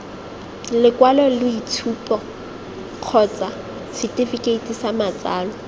lekwaloitshupo kgotsa setefikeiti sa matsalo